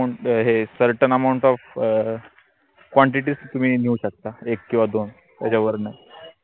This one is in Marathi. हे certain amount of अं quantity च तुम्ही नेऊ शकता एक किवा दोन त्याच्यावर नाई